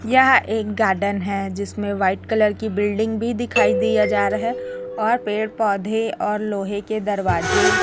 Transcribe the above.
यहां एक गार्डन है जिसमें व्हाइट कलर की बिल्डिंग भी दिखाई दिया जा रहा है और पेड़ पौधे और लोहे के दरवाजे--